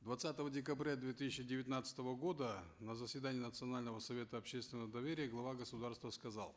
двадцатого декабря две тысячи девятнадцатого года на заседании национального совета общественного доверия глава государства сказал